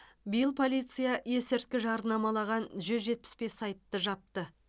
биыл полиция есірткі жарнамалаған жүз жетпіс бес сайтты жапты